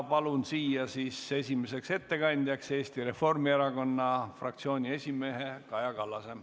Palun siia esimeseks ettekandjaks Eesti Reformierakonna fraktsiooni esimehe Kaja Kallase.